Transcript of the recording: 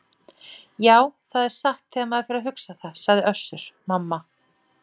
Já, það er satt þegar maður fer að hugsa það, sagði Össur-Mamma.